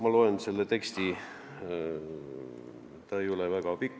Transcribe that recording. Ma loen selle teksti ette, see ei ole väga pikk.